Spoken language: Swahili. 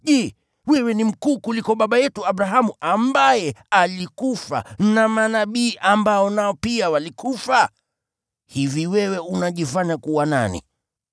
Je, wewe ni mkuu kuliko baba yetu Abrahamu ambaye alikufa na manabii ambao nao pia walikufa? Hivi wewe unajifanya kuwa nani?”